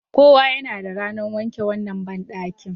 Kowa yana da ranar wanke wannan bandaki.